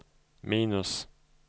minus